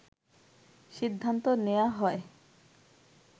সিদ্ধান্ত নেয়া হয়